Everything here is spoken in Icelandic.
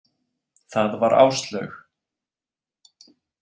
Það var Áslaug.